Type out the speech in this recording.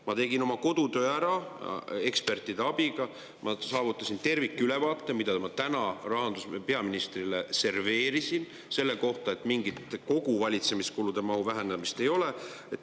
Ma tegin oma kodutöö ära ekspertide abiga, ma saavutasin tervikülevaate, mida ma täna peaministrile serveerisin, et mingit valitsemiskulude kogumahu vähenemist ei ole.